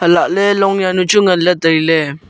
lahle long jawnu chu ngai ley tailey.